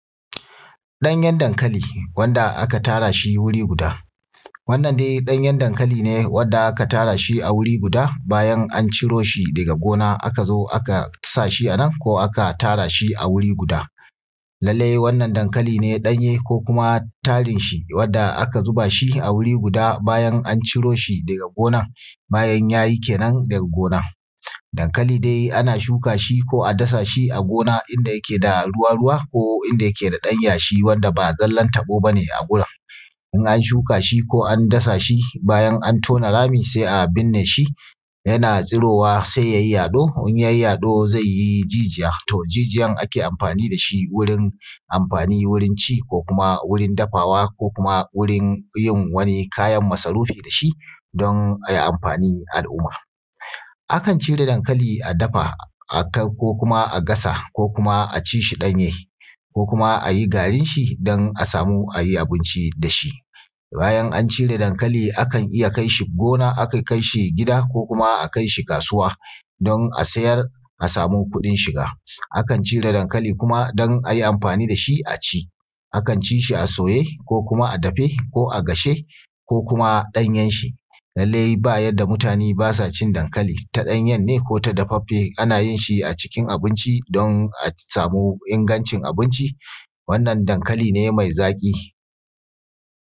Ɗanyar dankali wanda aka tara shi wuri guda. Wannan dai ɗanyar dankali ne wanda aka tara shi wuri guda bayan an ciro shi daga gona aka zo aka sa shi anan ko aka tara shi a wuri guda. Lallai wannan dankali ne ɗanye ko kuma tarin shi wadda aka zubaa shi a wuri guda bayan an ciro shi daga gona, bayan yayi kenan daga gona. Dankali dai ana shuka shi ko a dasa shi a gona inda yake da ruwa-ruwa ko inda yake da ɗan yashii wanda baa zallan taɓoo ba ne a wurin. In an shukaa shi ko an dasa shi bayan an tona rami sai a binnee shi yanaa tsurowa sai yayi yaɗo, in yayi yaɗo zai yi jijiya, to jijiyan ake amfaani da shi wurin amfaani wurin ci ko kuma wurin dafawa ko kuma wurin yin wani kayan masarufi da shi don a yi amfaani al’umma. Akan cire dankali a dafa ko kuma a gasa ko kuma a ci shi ɗanye ko kuma a yi garin shi don a samu a yi abinci da shi. Bayan an cire dankali akan iya kai shi gona akan kai shi gida ko akai shi kaasuwa don a sayar a samu kuɗin shiga. Akan cire dankali kuma don a yi amfaani da shi a ci, akan ci yi a soye ko kuma a dafe ko a gashe ko kuma ɗanyan shi, lallai ba yadda mutaane baa sa cin dankali ta ɗanyan ne ko dafaffe ana yin shi acikin abinci don a samu ingancin abinci, wannan dankali ne mai zaƙi